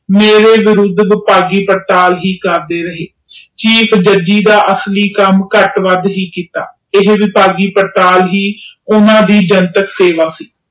ਮੇਰੇ ਵਿਰੁੱਧ ਵਿਭਾਗੀ ਪੜਤਾਲ ਹੀ ਕਰਦੇ ਰਹੇ ਚੀਫ ਜੁਡੀਜੇ ਦਾ ਅਸਲੀ ਕਾਮ ਘਟ ਵੱਧ ਹੀ ਕੀਤਾ ਇਹ ਵਿਭਾਗੀ ਪੜਤਾਲ ਵੀ ਓਹਨਾ ਨੇ ਜਨਤਕ ਸੇਵਾ